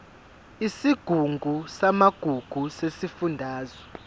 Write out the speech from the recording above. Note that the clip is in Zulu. isigungu samagugu sesifundazwe